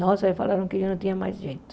Nossa, falaram que eu não tinha mais jeito.